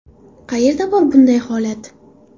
Qayerda bor bunday holat?